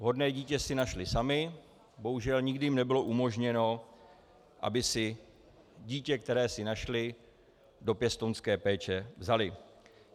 Vhodné dítě si našli sami, bohužel nikdy jim nebylo umožněno, aby si dítě, které si našli, do pěstounské péče vzali.